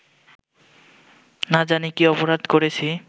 না জানি কী অপরাধ করেছি